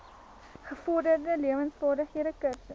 gevorderde lewensvaardighede kursus